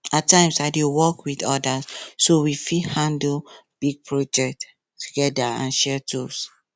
at times i dey work with others so we fit handle big project together and share tools